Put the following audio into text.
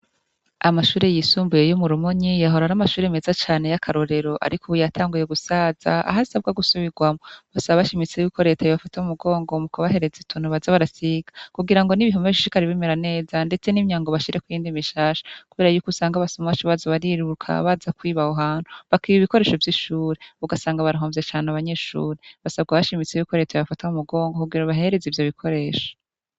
Amashure y'isumbuye yo mu Rumonyi, yahora ari amashure meza cane y'akarorero, ariko ubu yatanguye gusaza, aho asabwa gusubirwamwo basaba bashimitse ko reta yobafata m'umungongo mukubahereza utuntu baza barasiga, kugira n'ibihome bishishikare bimera neza ndetse n'imyango bashirako iyindi mishasha, kuberako yuko usanga abasuma baza bariruka baza kwiba aho hantu, bakiba ibikoresho vy'ishure ugasanga barahomvye abanyeshure, basabwa bashimitse ko reta yobafata m'umugongo kugira babahereze ivyo bikoresho.